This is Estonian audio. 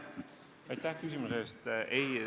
Aitäh küsimuse eest!